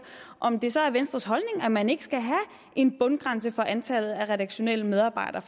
om det så er venstres holdning at man ikke skal have en bundgrænse for antallet af redaktionelle medarbejdere